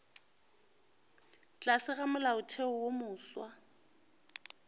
tlase ga molaotheo wo mofsa